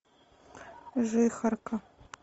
жихарка